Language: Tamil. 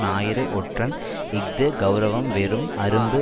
ஞாயிறு ஒற்றன் இஃது கெளரவம் வெறும் அரும்பு